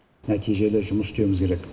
нәтижелі жұмыс істеуіміз керек